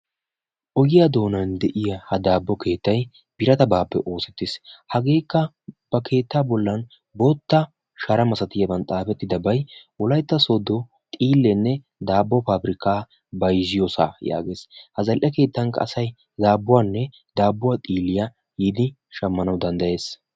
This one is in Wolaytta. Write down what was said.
Ogiyaa doonan de'iyaa ha daabbo keettay biratabaappe oosettiis. hageekka ba keettaa bollan bootta shara malatiyaaba oyqqidabay wolaytta sooddo xiillenne daabbo pabirkkaa bayzziyoosaa yaagees. ha zal"e keettanikka asay daadduwaanne daabbuwaa xiilliyaa yiidi shammana danddayees.